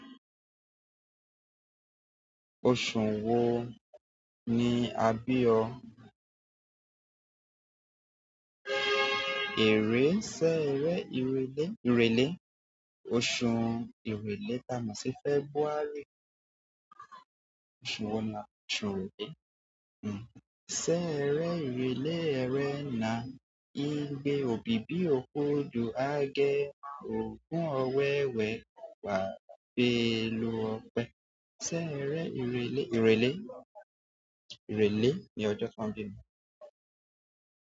Oṣù wo ni a bí o? Ẹ̀rẹ́ sẹ́rẹ́ ìrèlè, ìrèlè. Oṣù ìrèlè ta mò ṣì February. Oṣù wo ni oṣù ìrèlè? Hmm. Sẹ́rẹ́ ìrèlè ẹrẹ́na, igbe, òbíbí òkodò, agẹmo, ògún ọwẹ́wẹ́, owawà béèlù ọpẹ. Sẹ́rẹ́ ìrèlè, ìrèlè, ìrèlè ni ọjọ́ tan bími.